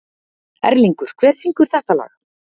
Erlingur, hver syngur þetta lag?